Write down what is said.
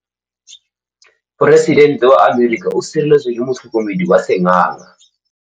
Poresitêntê wa Amerika o sireletswa ke motlhokomedi wa sengaga.